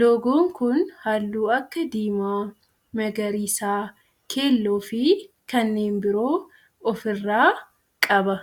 Loogoon kun halluu akka diimaa, magariisa, keelloo fi kanneen biroo of irraa qaba.